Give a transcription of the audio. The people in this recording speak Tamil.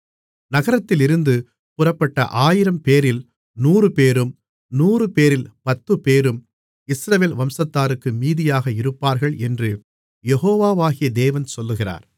நகரத்திலிருந்து புறப்பட்ட ஆயிரம்பேரில் நூறுபேரும் நூறுபேரில் பத்துப்பேரும் இஸ்ரவேல் வம்சத்தாருக்கு மீதியாக இருப்பார்கள் என்று யெகோவாகிய தேவன் சொல்லுகிறார்